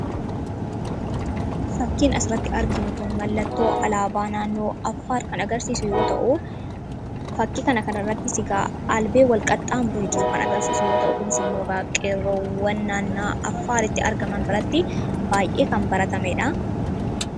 Faakkiin as irratti arginuu kun mallatoo Alabaa naannoo Affaar kan agarsisuu yoo ta'u, faakii kana irrattis egaa Albee walqaxamuree jiruu kan agarsisuu yoo ta'u, kunis kan agarsisuu qeeroowwan naannoo Affaar argamaan biraatti baay'ee kan baratameedha.